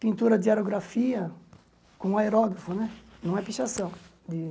Pintura de aerografia com aerógrafo né, não é pichação.